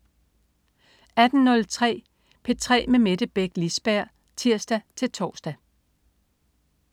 18.03 P3 med Mette Beck Lisberg (tirs-tors)